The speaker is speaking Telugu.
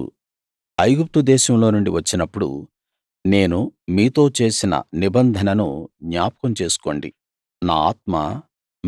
మీరు ఐగుప్తు దేశంలో నుండి వచ్చినప్పుడు నేను మీతో చేసిన నిబంధనను జ్ఞాపకం చేసుకోండి నా ఆత్మ